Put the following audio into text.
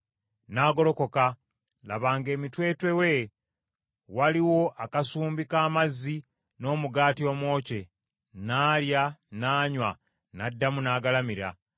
N’agolokoka, laba ng’emitwetwe we waliwo akasumbi k’amazzi n’omugaati omwokye. N’alya n’anywa, n’addamu n’agalamira.